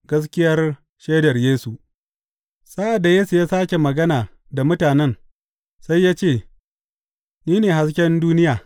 Gaskiyar shaidar Yesu Sa’ad da Yesu ya sāke magana da mutanen, sai ya ce, Ni ne hasken duniya.